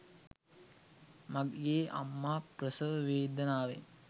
මගේ අම්මා ප්‍රසව වේදනාවෙන්